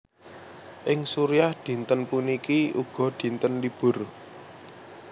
Ing Suriah dinten puniki uga dinten libur